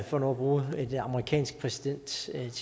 for nu at bruge et amerikansk præsidentielt